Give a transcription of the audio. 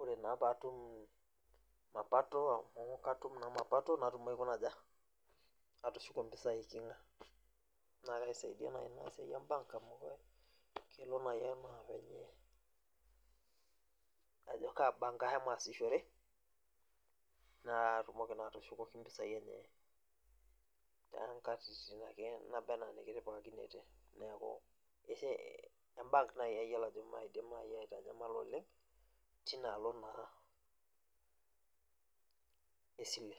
ore naa pee atum mapato amu katum naa mapato natum aikuna aja, natum atushuko mpisai eiking'a naa kaisaidia naaji ina siai e aa bank amu kelo naaji anaa venye ajo kaa bank ashomo aasishore, naatumoki naa atusukoki mpisai enye. too nkatitin ake naba anaa inikitipikakinote. neeku e bank naaji ayiolo ajo maidim aitanyamala oleng teina alo naa esile.